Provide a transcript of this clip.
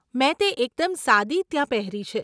મેં તે એકદમ સાદી ત્યાં પહેરી છે.